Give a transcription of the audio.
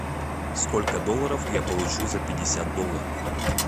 сколько долларов я получу за пятьдесят долларов